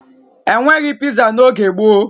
E nweghi piza n'oge gboo